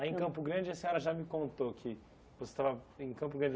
Aí, em Campo Grande, a senhora já me contou que você estava em Campo Grande.